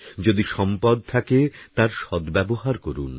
যদি সম্পদ থাকে তার সদ্ব্যবহার করুন